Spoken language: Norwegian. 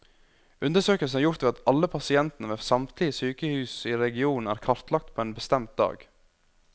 Undersøkelsen er gjort ved at alle pasientene ved samtlige sykehus i regionen er kartlagt på en bestemt dag.